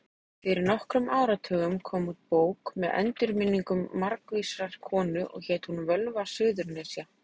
Fyrir nokkrum áratugum kom út bók með endurminningum margvísrar konu og hét hún Völva Suðurnesja.